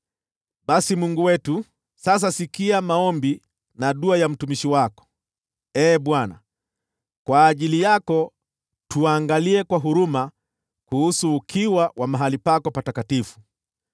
“Basi Mungu wetu, sasa sikia maombi na dua ya mtumishi wako. Ee Bwana, kwa ajili yako angalia kwa huruma ukiwa wa mahali pako patakatifu.